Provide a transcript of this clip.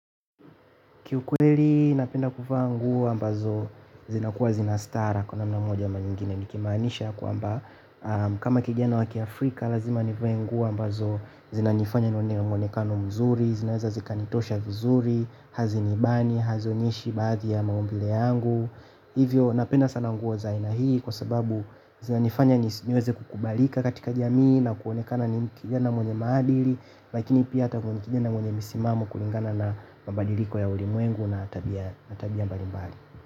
Kiukweli napenda kuvaa nguo ambazo zinakuwa zina stara kwa namna moja ama nyingine nikimaanisha kwamba kama kijana wa kiafrika lazima nivae nguo ambazo zinanifanya niwe na muonekano mzuri, zinaweza zikanitosha vizuri, hazinibani, hazionyeshi baadhi ya maumbile yangu. Hivyo napenda sana nguo za aina hii kwa sababu zinanifanya niweze kukubalika katika jamii na kuonekana ni kijana mwenye maadili lakini pia hata ni kijana mwenye misimamo kulingana na mabadiliko ya ulimwengu na tabia mbalimbali.